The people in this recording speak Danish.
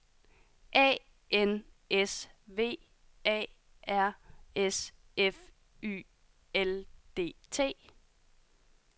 A N S V A R S F Y L D T